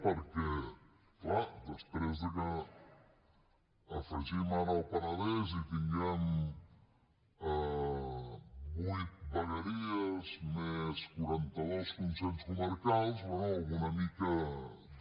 perquè clar després de que afegim ara el penedès i tinguem vuit vegueries més quaranta dos conselles comarcals bé alguna mica de